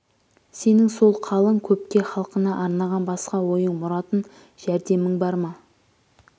сенің сол қалың көпке халқына арнаған басқа ойың мұратың жөрдемің бар ма